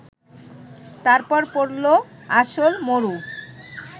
তারপর পড়ল আসল মরু